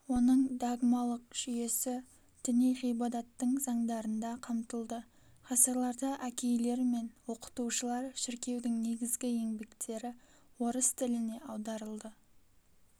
оның догмалық жүйесі діни ғибадаттың заңдарында қамтылды ғасырларда әкейлер мен окытушылар шіркеудің негізгі еңбектері орыс тіліне аударылды